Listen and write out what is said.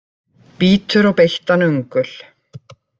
Bítur á beittan öngul.